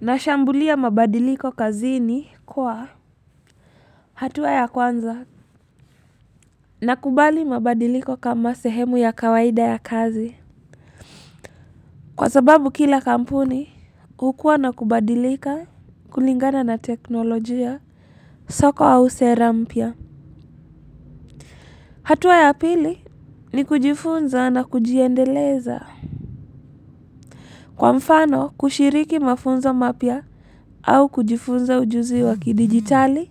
Nashambulia mabadiliko kazini kwa hatua ya kwanza. Nakubali mabadiliko kama sehemu ya kawaida ya kazi. Kwa sababu kila kampuni, hukua na kubadilika, kulingana na teknolojia, soko au sera mpya. Hatuwa ya pili ni kujifunza na kujiendeleza. Kwa mfano kushiriki mafunzo mapya au kujifunza ujuzi wa kidijitali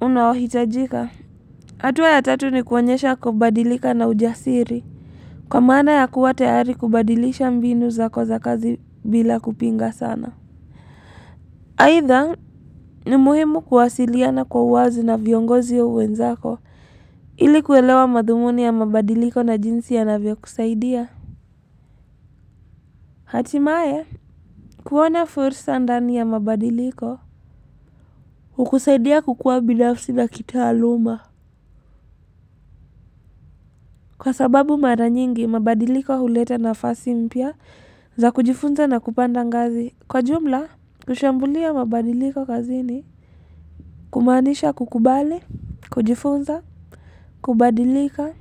unaohitajika hatua ya tatu ni kuonyesha kubadilika na ujasiri kwa maana ya kuwa tayari kubadilisha mbinu zako za kazi bila kupinga sana. Aitha ni muhimu kuwasilia na kwa wazi na viongozi au wenzako ili kuelewa madhumuni ya mabadiliko na jinsi yanavyo kusaidia. Hatimaye, kuona fursa ndani ya mabadiliko hukusaidia kukua binafsi na kitaaluma. Kwa sababu mara nyingi, mabadiliko huleta nafasi mpya za kujifunza na kupanda ngazi. Kwa jumla kushambulia mabadiliko kazini kumanisha kukubali kujifunza kubadilika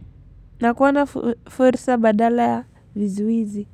na kuona fursa badala ya vizuizi.